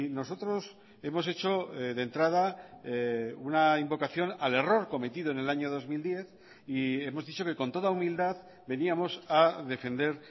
nosotros hemos hecho de entrada una invocación al error cometido en el año dos mil diez y hemos dicho que con toda humildad veníamos a defender